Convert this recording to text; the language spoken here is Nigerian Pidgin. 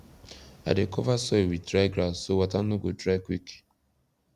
i dey cover soil with dry grass so water no go dry quick